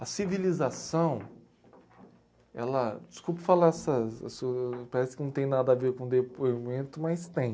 A civilização, ela, desculpe falar essas, assu, parece que não tem nada a ver com o depoimento, mas tem.